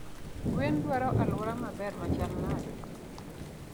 Gwen dwaro aluora maber machalnade?